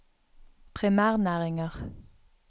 primærnæringer